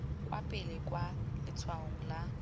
kwa pele kwa letshwaong la